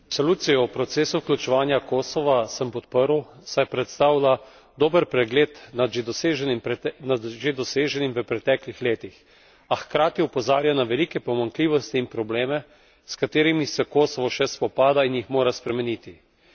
Resolucijo o procesu vključevanja Kosova sem podprl, saj predstavlja dober pregled nad že doseženim v preteklih letih, a hkrati opozarja na velike pomanjkljivosti in probleme, s katerimi se Kosovo še spopada in jih mora spremeniti.